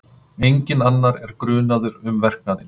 Enginn annar er grunaður um verknaðinn